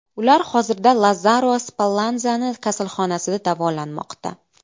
Ular hozirda Lazzaro Spallanzani kasalxonasida davolanmoqda.